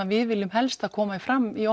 við viljum helst að komi fram í